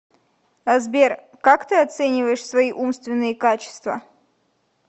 сбер как ты оцениваешь свои умственные качества